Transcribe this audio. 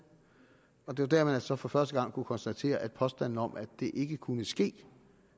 og det var dér man så for første gang kunne konstatere at påstanden om at det ikke kunne ske